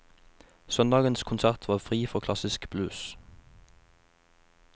Søndagens konsert var fri for klassisk blues.